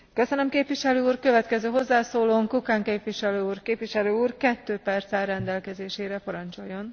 Bielorusko je jedným z posledných ostrovov autoritatívneho zriadenia v Európe.